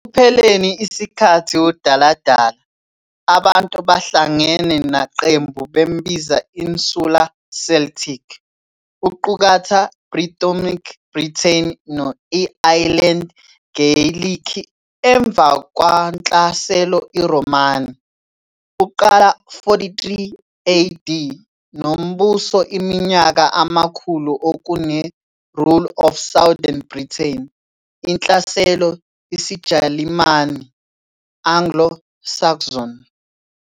Ekupheleni ikhathi udaladala, abantu bahlangene naqembu bambiza Insular Celtic, uqukatha Brythonic Britain no-i-Ayilendi Geyilikhi. Emva kwaNhlaselo iRhomani, uqala 43 AD, nombuso iminyaka amakhulu okune, rule of southern Britain, inhlaselo isiJalimani, Anglo-Saxon.